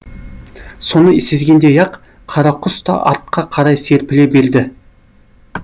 соны сезгендей ақ қара құс та артқа қарай серпіле берді